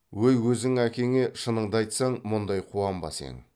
өй өзің әкеңе шыныңды айтсаң мұндай қуанбас ең